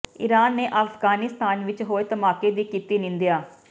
Iran ਨੇ ਅਫਗਾਨਿਸਤਾਨ ਵਿਚ ਹੋਏ ਧਮਾਕੇ ਦੀ ਕੀਤੀ ਨਿੰਦਿਆ